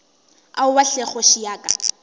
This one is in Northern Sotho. aowa hle kgoši ya ka